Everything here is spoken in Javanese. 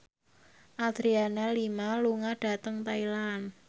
Adriana Lima lunga dhateng Thailand